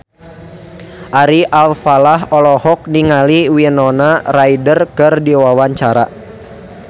Ari Alfalah olohok ningali Winona Ryder keur diwawancara